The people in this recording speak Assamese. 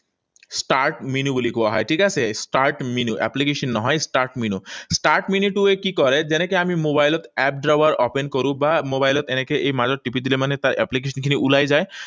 Start menu বুলি কোৱা হয়, ঠিক আছে? Start menu, application নহয়, start menu. Start menu টোৱে কি কৰে? যেনেকৈ আমি মোবাইলত app drawer open কৰোঁ, বা মোবাইলত এনেকৈ এই মাজত টিপি দিলে মানে তাৰ application খিনি ওলাই যায়,